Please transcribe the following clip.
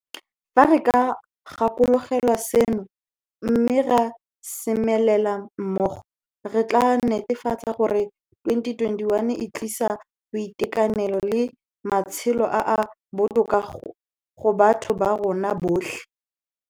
Fa re ka gakologelwa seno, mme ra semelela mmogo, re tla netefatsa gore 2021 e tlisa boitekanelo le matshelo a a botoka go batho ba rona botlhe.